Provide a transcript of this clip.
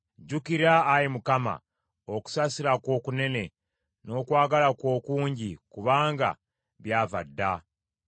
Jjukira, Ayi Mukama , okusaasira kwo okunene, n’okwagala kwo okungi, kubanga byava dda.